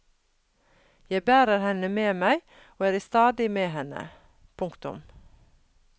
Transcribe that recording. Jeg bærer henne med meg og er i stadig med henne. punktum